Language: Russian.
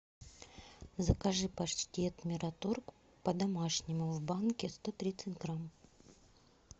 закажи паштет мираторг по домашнему в банке сто тридцать грамм